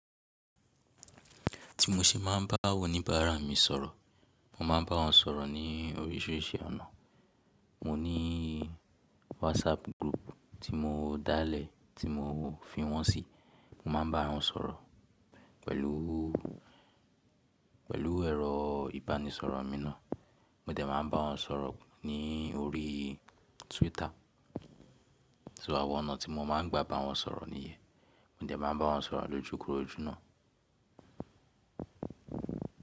Tí mo ṣe máa ń bá àwọn oníbàárà mi sọ̀rọ̀, mo máa ń bá wọn sọ̀rọ̀ ní oríṣìíríṣìí ọ̀nà. Mo ní WhatsApp group tí mo dá lẹ̀ tí mo fi wọ́n sí, mo máa ń bá wọn sọ̀rọ̀ pẹ̀lú, pẹ̀lú ẹ̀rọ ìbánisọ̀rọ̀ mi náà. Mo dẹ̀ máa ń bá wọn sọ̀rọ̀ ní orí Twitter. So, àwọn ọ̀nà tí mo máa ń gba bá wọn sọ̀rọ̀ nìyẹn. Mo dẹ̀ máa ń bá wọn sọ̀rọ̀ lójúkorojú náà.